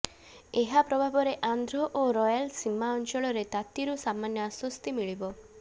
ଏହା ପ୍ରଭାବରେ ଆନ୍ଧ୍ର ଓ ରୟାଲସୀମା ଅଞ୍ଚଳରେ ତାତିରୁ ସାମାନ୍ୟ ଆଶ୍ୱସ୍ତି ମିଳିବ